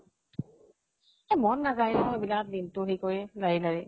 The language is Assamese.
এ মন নাজায় অʼ । এইবিলাক দিনতো সেই কৰি, লাৰি লাৰি